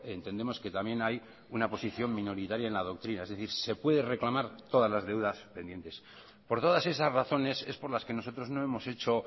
entendemos que también hay una posición minoritaria en la doctrina es decir se pueden reclamar todas las deudas pendientes por todas esas razones es por las que nosotros no hemos hecho